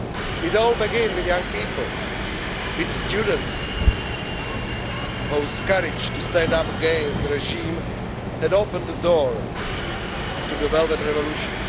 It all began with young people, with students whose courage to stand up against the regime had opened the door to the Velvet Revolution.